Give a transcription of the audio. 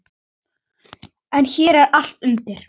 En hér er allt undir.